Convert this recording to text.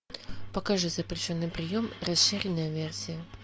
покажи запрещенный прием расширенная версия